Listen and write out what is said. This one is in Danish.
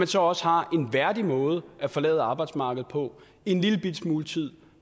så også har en værdig måde at forlade arbejdsmarkedet på en lillebitte smule tid